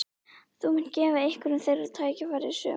Þú munt gefa einhverjum þeirra tækifæri í sumar?